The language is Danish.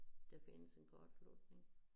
Der findes en kortslutning